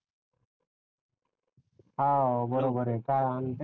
हव बरोबर आहे